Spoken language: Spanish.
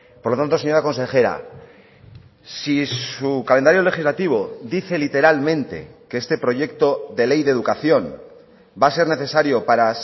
por lo tanto señora consejera si su calendario legislativo dice literalmente que este proyecto de ley de educación va a ser necesario para